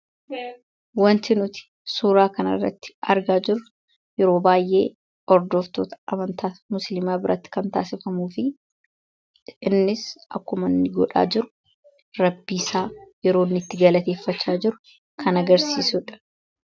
Waanti nuti suura kana irratti argaa jirru, yeroo baayyee hordoftoota amantaa musiliimaa biratti kan taasifamuu fi innis akkuma inni godhaa jiru, rabbi isaa yeroo inni itti galateeffataa jiru kan agarsiisudha.